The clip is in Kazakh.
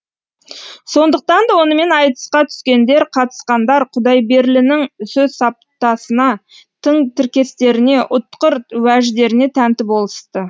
сондықтан да онымен айтысқа түскендер қатысқандар құдайберлінің сөз саптасына тың тіркестеріне ұтқыр уәждеріне тәнті болысты